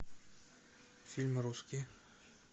фильмы русские